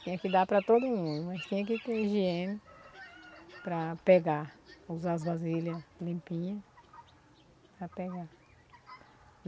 Tinha que dar para todo mundo, mas tinha que ter higiene para pegar, usar as vasilhas limpinhas para pegar.